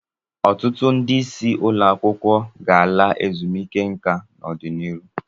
Ọtụtụ ndị isi ụlọ akwụkwọ sekọndrị ga-ala ezumike nka n'ọdịnihu.